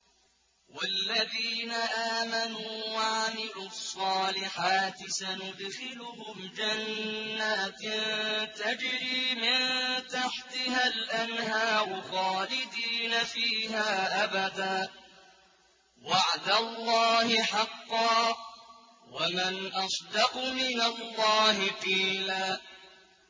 وَالَّذِينَ آمَنُوا وَعَمِلُوا الصَّالِحَاتِ سَنُدْخِلُهُمْ جَنَّاتٍ تَجْرِي مِن تَحْتِهَا الْأَنْهَارُ خَالِدِينَ فِيهَا أَبَدًا ۖ وَعْدَ اللَّهِ حَقًّا ۚ وَمَنْ أَصْدَقُ مِنَ اللَّهِ قِيلًا